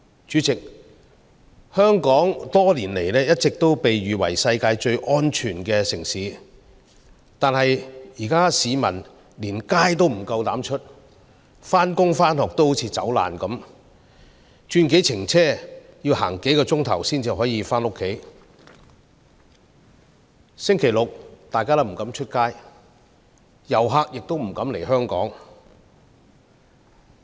主席，香港多年來一直被譽為世界上最安全的城市，但現在市民不敢外出，連上班和上課也像逃難般，轉幾程車、走幾小時才可以回家，大家周六周日都不敢外出，遊客也不敢來香港。